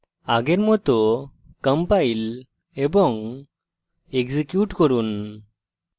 আগের মত compile এবং execute করুন